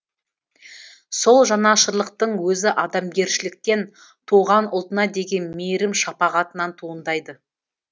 сол жанашырлықтың өзі адамгершіліктен туған ұлтына деген мейірім шапағатынан туындайды